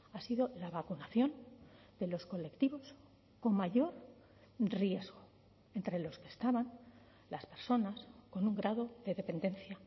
ha sido la vacunación de los colectivos con mayor riesgo entre los que estaban las personas con un grado de dependencia